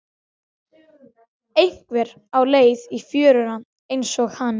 Einhver á leið í fjöruna einsog hann.